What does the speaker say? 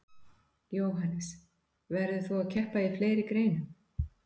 Jóhannes: Verður þú að keppa í fleiri greinum?